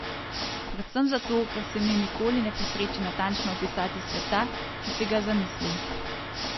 Predvsem zato, ker se mi nikoli ne posreči natančno opisati sveta, ki si ga zamislim.